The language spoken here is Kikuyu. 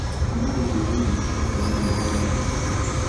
ũmũthĩ ndĩire irio cia hwainĩ ndĩ wiki.